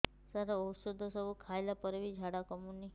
ସାର ଔଷଧ ସବୁ ଖାଇଲା ପରେ ବି ଝାଡା କମୁନି